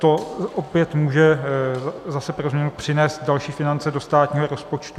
To opět může zase pro změnu přinést další finance do státního rozpočtu.